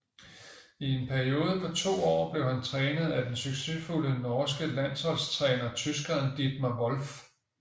I en periode på 2 år blev han trænet af den succesfulde norske landsholdstræner tyskeren Dietmar Wolf